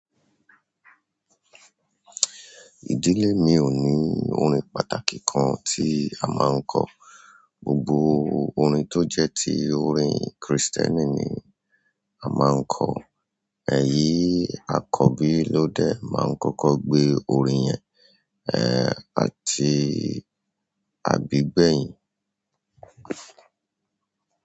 Ìdílé mi ò ní orin pàtàkì kan tí a máa ń kọ. Gbogbo orin tó jẹ́ ti orin Krìstẹ́nì ni a máa ń kọ. Ẹ̀yi akọ́bí lóde máa ń kọ́kọ́ gbe orin yẹn, àti àbí gbẹ̀yìn.